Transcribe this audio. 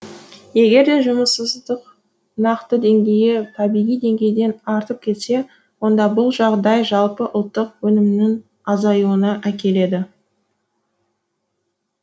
егерде жұмыссыздық нақты деңгейі табиғи деңгейден артып кетсе онда бұл жағдай жалпы ұлттық өнімнің азаюына әкеледі